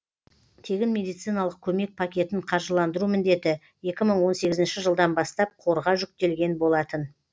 тегін медициналық көмек пакетін қаржыландыру міндеті екі мың он сегізінші жылдан бастап қорға жүктелген болатын